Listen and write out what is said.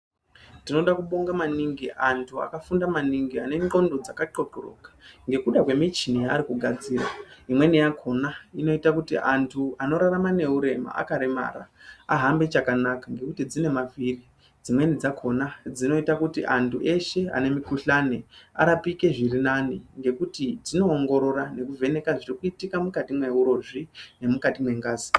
Tinoda kubonga maningi antu akafunda maningi anengqondo dzakaqoqoroka nekuda kwemichini yaarikugadzira imweni yakona inoita kuti antu anorarama nehurema akaremara ahambe chakanaka ngekuti dzinemavhiri ,dzimweni dzakona dzinoita kuti antu eshe anemikuhlane arapike zviri nani ngekuti dzinowongorora nekuvheneka zvirikuitika mukati mehurozvi nemukati mengazi.